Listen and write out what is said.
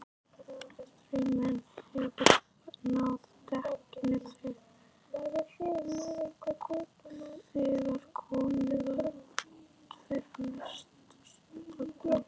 Straumurinn hefur náð dekkinu þegar komið var út fyrir nesoddann.